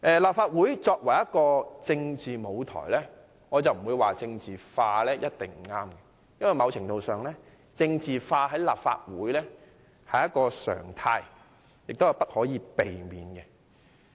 立法會作為一個政治舞台，我並不認為政治化一定不對，因為某程度上，政治化在立法會是一個常態，亦無可避免。